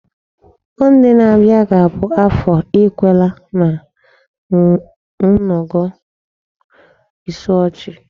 Monday n'abịa ga-abụ Afọ Igwekala na Ngodo Isuochi.